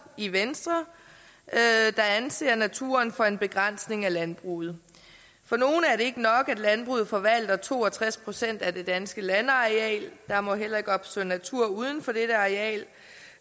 i venstre der anser naturen for en begrænsning af landbruget for nogle er det ikke nok at landbruget forvalter to og tres procent af det danske landareal der må heller ikke opstå natur uden for dette areal